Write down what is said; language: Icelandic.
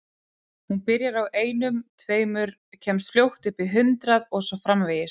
Hún byrjar á einum, tveimur, kemst fljótt upp í hundrað og svo framvegis.